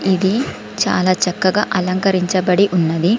ఇది చాలా చక్కగా అలంకరించబడి ఉన్నది.